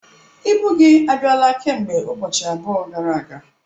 Ibu gị abịala kemgbe ụbọchị abụọ gara aga.